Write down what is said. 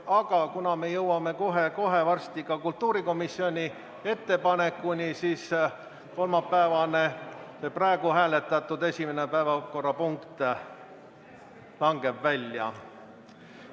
Aga kuna me jõuame kohe varsti ka kultuurikomisjoni ettepanekuni, siis praegu hääletatud päevakorrast langeb kolmapäevane esimene punkt välja.